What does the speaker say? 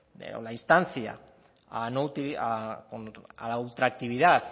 o la instancia a la ultraactividad